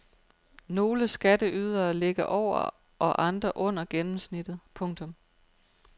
Nogle skatteydere ligger over og andre under gennemsnittet. punktum